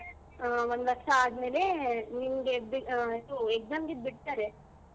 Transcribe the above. ಹಾ ಒಂದು ವರ್ಷ ಆದ್ಮೇಲೆ ನಿನ್ಗೆ ಆ ಇದು exam ಗೆ ಇದ್ ಬಿಡ್ತಾರೆ.